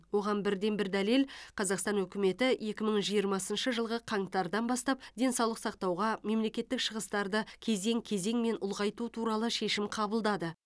оған бірден бір дәлел қазақстан үкіметі екі мың жиырмасыншы жылғы қаңтардан бастап денсаулық сақтауға мемлекеттік шығыстарды кезең кезеңмен ұлғайту туралы шешім қабылдады